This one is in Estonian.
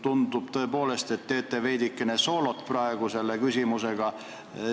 Tundub tõepoolest, et teete veidikene soolot praegu selle küsimusega.